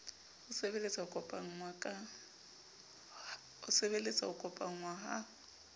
ho sebeletsa ho kopanngwa ha